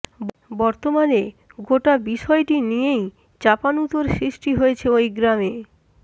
বর্তমানে গোটা বিষয়টি নিয়েই চাপানউতোর সৃষ্টি হয়েছে ওই গ্রামে